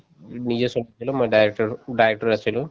নিজে চব ধৰিললো মই director director আছিলো